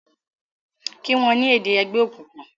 kí wón ni èdè ègbé òkùnkùn!